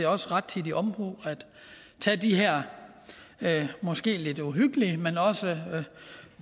også rettidig omhu at have de her måske lidt uhyggelige men også